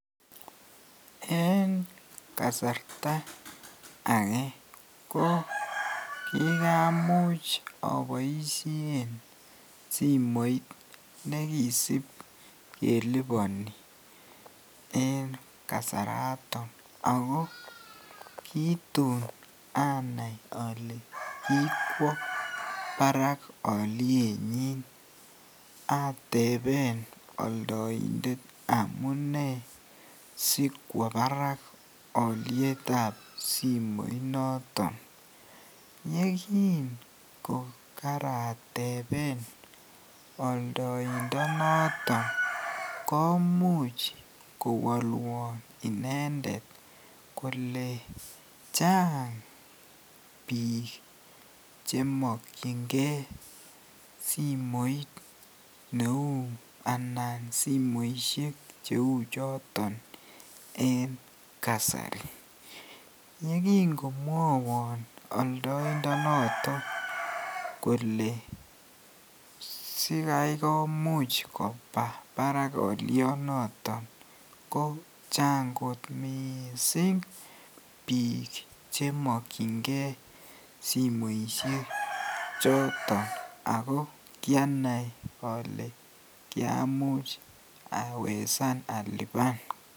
En kasarta akee ko kikamuch aboishen simoit nekisip keliponi en kasaraton ak ko kitun anai olee kokwo barak olienyin ateben oldointet amune sikwo barak olietab simoinoton yekingokarateben oldointo noton komuch kowolwon inendet kolee chang biik chemokyinge simoit neuu anan simoishek cheuu choton en kasari, yekingomwowon oldointo noton kolee sikai komuch koba barak olionoton kochang kot mising biik chemokyinge simoishe choton ak ko kianai olee kiamuch awesan aliban.